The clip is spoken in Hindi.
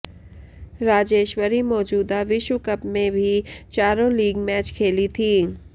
राजेश्वरी मौजूदा विश्व कप में भी चारों लीग मैच खेली थी